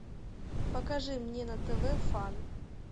покажи мне на тв фан